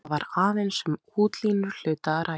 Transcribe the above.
Þar var aðeins um útlínur hluta að ræða.